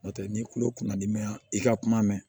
N'o tɛ n'i kulo kunna d'i ma i ka kuma mɛn